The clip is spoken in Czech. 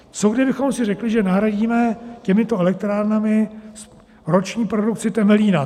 Co kdybychom si řekli, že nahradíme těmito elektrárnami roční produkci Temelína?